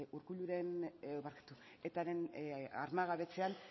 etaren armagabetzean